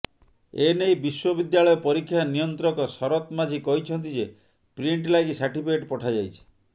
ଏନେଇ ବିଶ୍ବବିଦ୍ୟାଳୟ ପରୀକ୍ଷା ନିୟନ୍ତ୍ରକ ଶରତ ମାଝି କହିଛନ୍ତି ଯେ ପ୍ରିଣ୍ଟ ଲାଗି ସାର୍ଟିଫିକେଟ୍ ପଠାଯାଇଛି